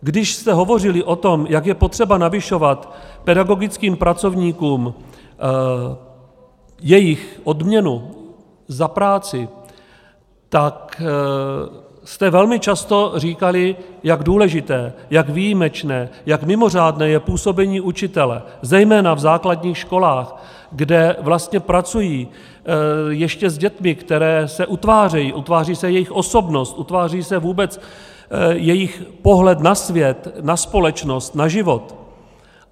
Když jste hovořili o tom, jak je potřeba navyšovat pedagogickým pracovníkům jejich odměnu za práci, tak jste velmi často říkali, jak důležité, jak výjimečné, jak mimořádné je působení učitele zejména v základních školách, kde vlastně pracují ještě s dětmi, které se utvářejí, utváří se jejich osobnost, utváří se vůbec jejich pohled na svět, na společnost, na život.